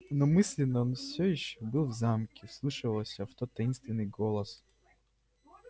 но мысленно он все ещё был в замке вслушивался в тот таинственный голос